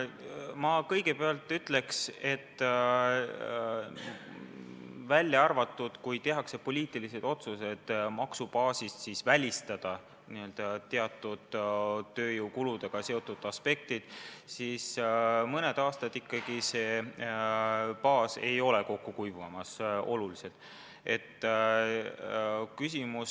Ma kõigepealt ütleks, et kui ei tehta poliitilisi otsuseid välistada maksubaasis teatud tööjõukuludega seotud aspektid, siis mõne aasta jooksul see baas olulisel määral kokku ei kuiva.